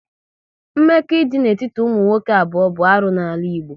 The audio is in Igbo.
Mmekọ idị n'etiti ụmụ nwoke abụọ bụ arụ n'ala Igbo